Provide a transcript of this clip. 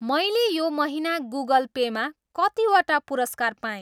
मैले यो महिना गुगल पेमा कतिवटा पुरस्कार पाएँ?